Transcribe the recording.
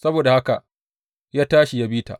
Saboda haka ya tashi ya bi ta.